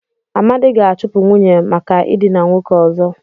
Amadi ga-achụpụ nwunye maka ịdịna nwoke ọzọ.